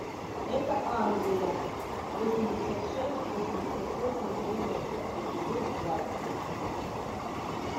это англия восемьдесят шесть восемьдесят восемь девяносто эпизод двадцать